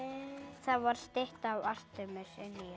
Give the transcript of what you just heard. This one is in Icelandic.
það var stytta af Artemis inni